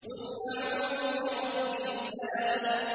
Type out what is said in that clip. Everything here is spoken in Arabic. قُلْ أَعُوذُ بِرَبِّ الْفَلَقِ